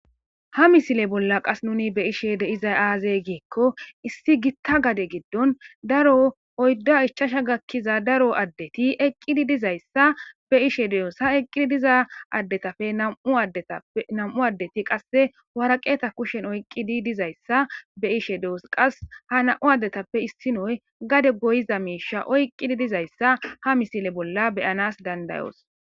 Ha missile bolla nu be'ishshe dizayissa aze gikko issi gitta gadde giddon Daro oyidda ichchasha gakiza daro addeti eqqidi dizayossa be'eishe deosi ha eqqidi diza addetappe Nam'u addeti qase waraqqete kushen oyqqidi dizayissa be'ishe doos qasi ha nam'u addetappe issonozi gadde goyiza mishsha oyqqidi dizayissa ha missile bolla be'anas danda'os.